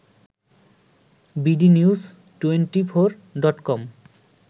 BD news twenty four dot com